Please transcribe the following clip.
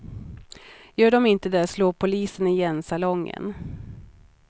Gör de inte det slår polisen igen salongen.